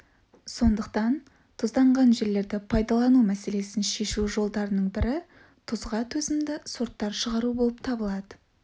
сондықтан тұзданған жерлерді пайдалану мәселесін шешу жолдарының бірі тұзға төзімді сорттар шығару болып табылады